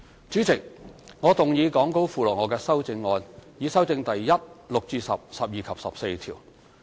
主席，我動議講稿附錄我的修正案，以修正第1、6至10、12及14條。